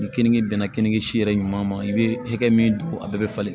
Ni kenige bɛnna kenige si yɛrɛ ɲuman ma i bɛ hakɛ min don a bɛɛ bɛ falen